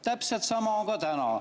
Täpselt sama on ka täna.